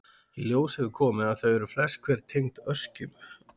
Í ljós hefur komið að þau eru flest hver tengd öskjum.